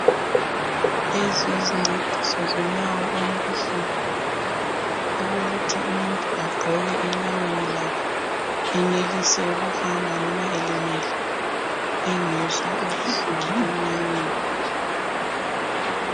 Lezi yincediso zonyawo olubuhlungu, okokuthi umuntu agqoke enyaweni lakhe. Enelise ukuhamba noma elimele engezwa ubuhlungu enyaweni.